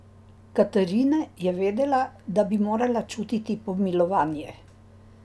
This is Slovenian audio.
Katrine je vedela, da bi morala čutiti pomilovanje.